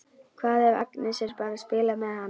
Hvað ef Agnes er bara að spila með hann?